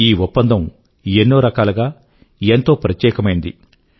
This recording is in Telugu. ఈ ఒప్పందం ఎన్నో రకాలుగా ఎంతో ప్రత్యేకమైనది